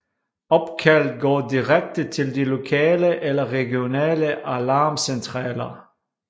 Opkald går direkte til de lokale eller regionale alarmcentraler